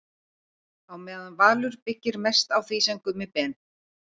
Á meðan Valur byggir mest á því sem Gummi Ben.